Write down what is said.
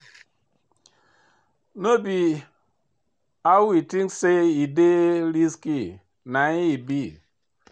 But no be how we think say e dey risky na im e be.